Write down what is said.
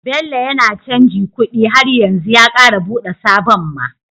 Bello yAna canji kuɗi har yanzu ya kara buɗe sabon ma